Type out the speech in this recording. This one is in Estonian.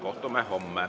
Kohtume homme.